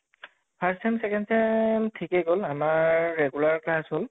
first sem second sem ঠিকে গʼল আমাৰ regular class হʼল